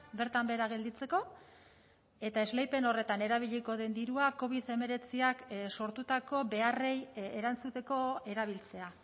bertan behera gelditzeko eta esleipen horretan erabiliko den dirua covid hemeretziak sortutako beharrei erantzuteko erabiltzea